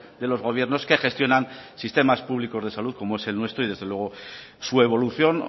de los gobiernos que gestionan sistemas públicos de salud como es el nuestro y desde luego su evolución